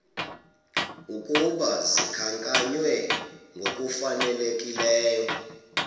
ukuba zikhankanywe ngokufanelekileyo